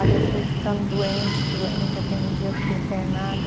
Ali eu fui ficando doente, doente, até um dia eu fiquei internada.